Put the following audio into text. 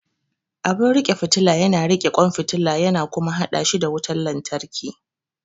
Abin riƙe fitila yana riƙe kwan fitila yana kuma haɗa shi da wutar lantarki.